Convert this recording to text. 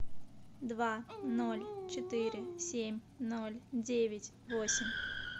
два ноль четыре семь ноль девять восемь